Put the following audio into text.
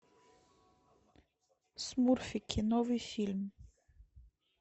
смурфики новый фильм